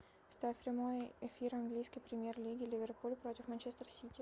ставь прямой эфир английской премьер лиги ливерпуль против манчестер сити